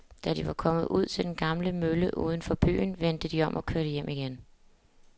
Da de var kommet ud til den gamle mølle uden for byen, vendte de om og kørte hjem igen.